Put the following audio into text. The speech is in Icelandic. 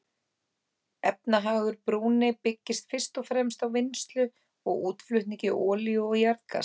Efnahagur Brúnei byggist fyrst og fremst á vinnslu og útflutningi olíu og jarðgass.